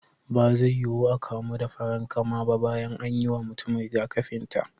Ba zai yuwu a kamu da farankama ba bayan an yi wa mutum rigakafin ta.